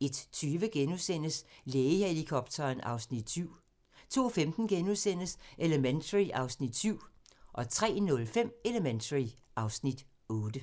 * 01:20: Lægehelikopteren (Afs. 7)* 02:15: Elementary (Afs. 7)* 03:05: Elementary (Afs. 8)